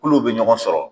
Kulo bɛ ɲɔgɔn sɔrɔ